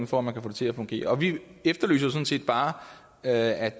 for at man kan få det til at fungere og vi efterlyser jo sådan set bare at